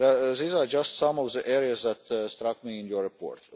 These are just some of the areas that struck me in your report.